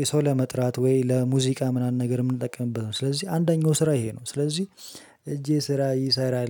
የሰው ለመጥራት ወይ ለሙዚቃ ምናምን ነገር የምንጠቀምበት ነው። ስለዚህ አንደኛው ስራ ይሄ ነው ስለዚህ እጄ ስራ ይሰራል